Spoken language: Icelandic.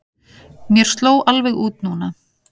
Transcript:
Mér sló alveg út núna.